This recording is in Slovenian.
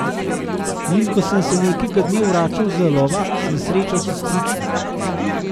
In ko sem se nekega dne vračal z lova, sem srečal sestrično.